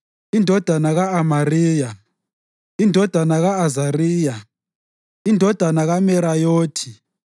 indodana ka-Amariya, indodana ka-Azariya, indodana kaMerayothi,